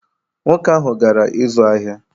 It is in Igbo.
Nwoke ahụ gara ịzụ ahịa